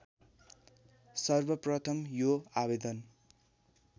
सर्वप्रथम यो आवेदन